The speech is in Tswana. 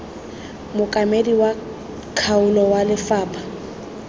mookamedi wa kgaolo wa lefapha